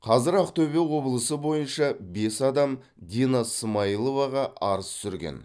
қазір ақтөбе облысы бойынша бес адам дина смаиловаға арыз түсірген